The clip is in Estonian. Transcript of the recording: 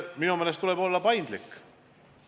Minu meelest tuleb olla paindlik.